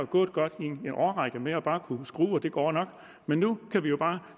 gået godt i en årrække med bare at kunne skrue og det går nok men nu kan vi jo bare